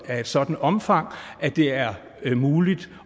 af et sådant omfang at det er muligt